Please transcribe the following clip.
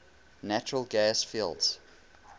natural gas fields